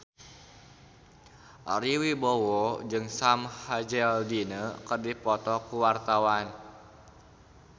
Ari Wibowo jeung Sam Hazeldine keur dipoto ku wartawan